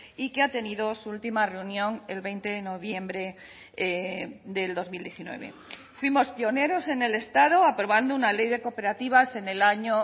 y que ha tenido su última reunión el veinte de noviembre del dos mil diecinueve fuimos pioneros en el estado aprobando una ley de cooperativas en el año